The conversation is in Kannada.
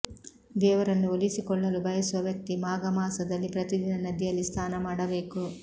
ದೇವರನ್ನು ಒಲಿಸಿಕೊಳ್ಳಲು ಬಯಸುವ ವ್ಯಕ್ತಿ ಮಾಘ ಮಾಸದಲ್ಲಿ ಪ್ರತಿದಿನ ನದಿಯಲ್ಲಿ ಸ್ನಾನ ಮಾಡಬೇಕು